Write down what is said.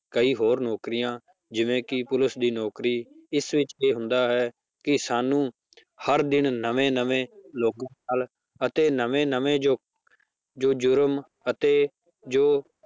ਕਈ ਹੋਰ ਨੌਕਰੀਆਂ ਜਿਵੇਂ ਕਿ ਪੁਲਿਸ ਦੀ ਨੌਕਰੀ ਇਸ ਵਿੱਚ ਇਹ ਹੁੰਦਾ ਹੈ ਕਿ ਸਾਨੂੰ ਹਰ ਦਿਨ ਨਵੇਂ ਨਵੇਂ ਲੋਕਾਂ ਨਾਲ ਅਤੇ ਨਵੇਂ ਨਵੇਂ ਜੋ ਜੁਰਮ ਅਤੇ ਜੋ